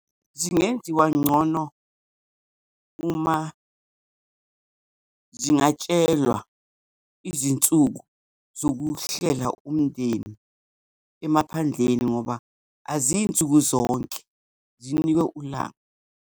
Zingenziwa ngcono uma zingatshelwa izinsuku zokuwuhlela umndeni emaphandleni, ngoba aziyi nsuku zonke, zinikwe ulanga.